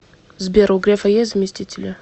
сбер у грефа есть заместители